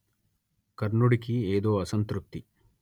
కర్ణుడికి ఏదో అసంతృప్తి